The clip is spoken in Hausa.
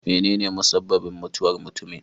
Menene musabbabin mutuwar mutumin?